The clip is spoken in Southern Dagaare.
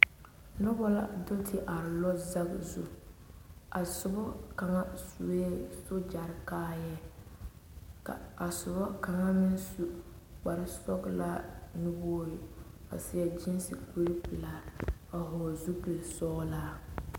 Noba la do te are lɔzagi zu, a soba kaŋa su la sogyɛre kaayare ka a soba kaŋa su kpare sɔglaa nuwogre, a seɛ gyiisi kpare pelaa, a hɔle zupil sɔglaa